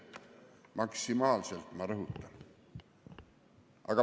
Maksimaalselt, ma rõhutan.